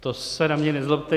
To se na mě nezlobte.